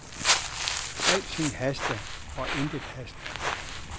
Alting haster, og intet haster.